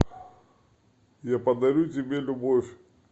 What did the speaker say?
я подарю тебе любовь